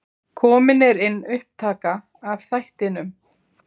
Komin er inn upptaka af þættinum.